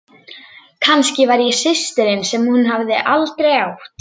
Kannski var ég systirin sem hún hafði aldrei átt.